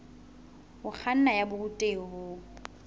ho kganna ya borutehi bo